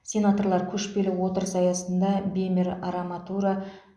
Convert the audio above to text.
сенаторлар көшпелі отырыс аясында бемер араматура